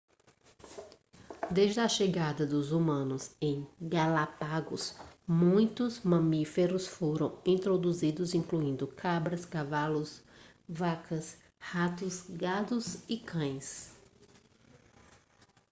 desde a chegada dos humanos em galápagos muitos mamíferos foram introduzidos incluindo cabras cavalos vacas ratos gatos e cães